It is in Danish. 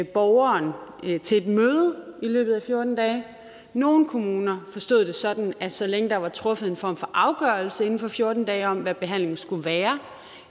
borgeren til et møde i løbet af fjorten dage nogle kommuner forstod det sådan at så længe der var truffet en form for afgørelse inden for fjorten dage om hvad behandlingen skulle være